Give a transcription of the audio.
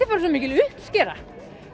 bara svo mikil uppskera